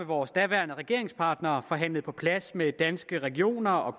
vores daværende regeringspartner og forhandlede på plads med danske regioner og